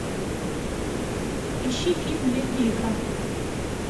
ищи фильм летняя игра